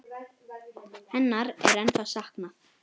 Hennar er ennþá saknað.